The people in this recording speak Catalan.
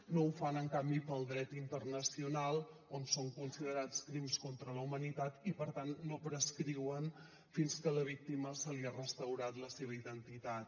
no ho fan en canvi per al dret internacional on són considerats crims contra la humanitat i per tant no prescriuen fins que a la víctima se li ha restaurat la seva identitat